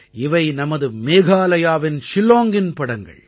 இவை நமது மேகாலயாவின் ஷில்லாங்கின் படங்கள்